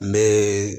N bɛ